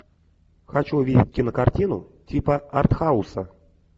хочу увидеть кинокартину типа артхауса